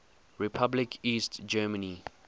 republic east germany